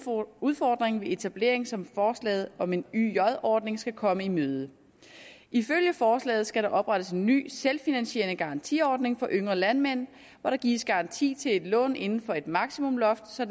udfordring ved etablering som forslaget om en yj ordning skal komme i møde ifølge forslaget skal der oprettes en ny selvfinansierende garantiordning for yngre landmænd hvor der gives garanti til et lån inden for et maksimumloft så